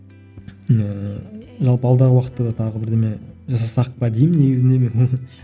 ііі жалпы алдағы уақытта да тағы бірдеңе жасасақ па деймін негізінде мен